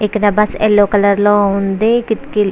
ఇక్కడ bus yellow colour లో ఉంది. కిటికీలు --